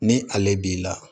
Ni ale b'i la